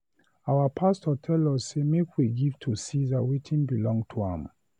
Our pastor tell us say make we give to Ceasar wetin belong to am.